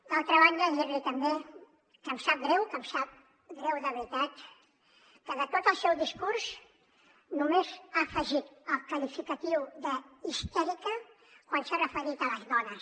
d’altra banda dir li també que em sap greu que em sap greu de veritat que de tot el seu discurs només ha afegit el qualificatiu d’ histèrica quan s’ha referit a les dones